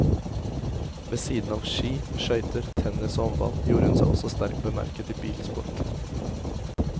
Ved siden av ski, skøyter, tennis og håndball gjorde hun seg også sterkt bemerket i bilsport.